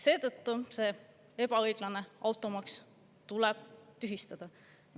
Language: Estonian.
Seetõttu tuleb see ebaõiglane automaks tühistada.